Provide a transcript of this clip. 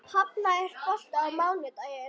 Hafnar, er bolti á mánudaginn?